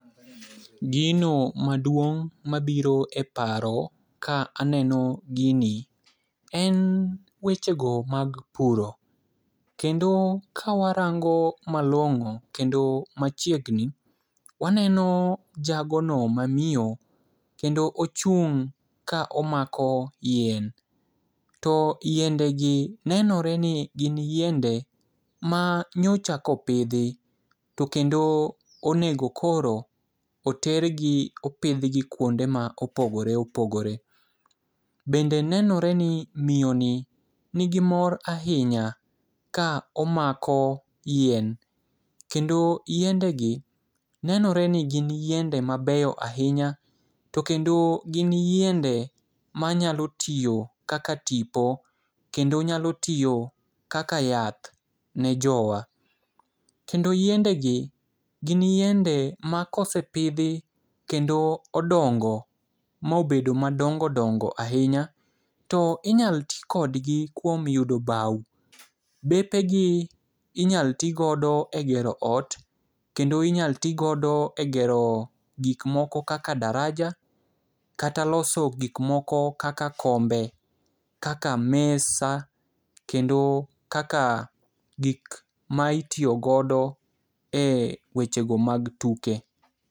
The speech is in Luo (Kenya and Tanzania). Gino maduong' mabiro e paro ka aneno gini, en wechego mag puro, kendo kawarango malong'o kendo machiegni, waneno jagono mamiyo kendo ochung' ka omako yien, to yiendegi nenore ni gin yiende ma nyocha kopidhi, to kendo onego koro otergi opidhgi kwonde ma opogore opogore. Bende nenore ni miyoni nigi mor ahinya ka omako yien, kendo yiendegi nenore ni gin yiende mabeyo ahinya, to kendo gin yiende manyalo tiyo kaka tipo, kendo nyalo tiyo kaka yath ne jowa. Kendo yiendegi gin yiende ma kosepidhi kendo odongo mobedo madongo dongo to inyalo ti kodgi kuom yudo bawo. Bepegi inyalo ti godo e gero ot kendo inyalo ti godo e gero gikmoko kaka daraja, kata loso gik moko kaka kombe, kaka mesa ,kendo kaka gik ma itiyo godo e wechego mag tuke.